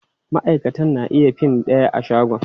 Maʼaikatan na iya fin ɗaya a shago.